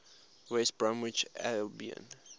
west bromwich albion